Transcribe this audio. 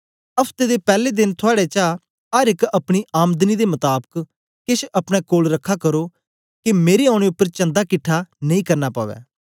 हफ्ते दे पैले देन थुआड़े चा अर एक अपनीआमदनी दे मताबक केछ अपने कोल रखा करो के मेरे औने उपर चंदा किट्ठा नेई करना पवै